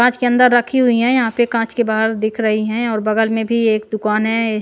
काँच के अंदर रखी हुई हैं यहाँ पे काँच के बाहर दिख रही हैं और बगल में भी एक दुकान है।